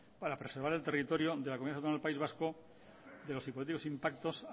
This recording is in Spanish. para preservar el territorio de la comunidad autónoma del país vasco de los hipotéticos impactos